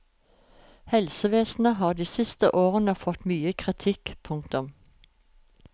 Helsevesenet har de siste årene fått mye kritikk. punktum